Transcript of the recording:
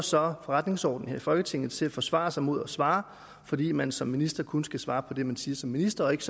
så forretningsordenen her i folketinget til at forsvare sig mod at svare fordi man som minister kun skal svare på det man siger som minister og ikke